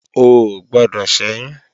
O ò gbọdọ̀ ṣẹ́yún!